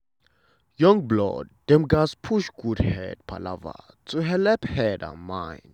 young blood dem gatz push good head palava to helep head and mind.